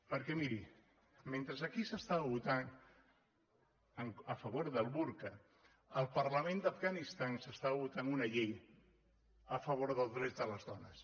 perquè miri mentre aquí s’estava votant a favor del burca al parlament d’afganistan s’estava votant una llei a favor del dret de les dones